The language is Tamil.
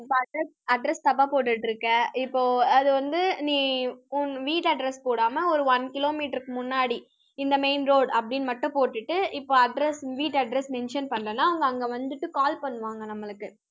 இப்போ address address தப்பா போட்டுட்டிருக்க. இப்போ அது வந்து நீ உன் வீட்டு address போடாம, ஒரு one kilometre க்கு முன்னாடி, இந்த main road அப்படின்னு மட்டும் போட்டுட்டு, இப்ப address வீட்டு address mention பண்ணலைன்னா, அவங்க அங்க வந்துட்டு call பண்ணுவாங்க நம்மளுக்கு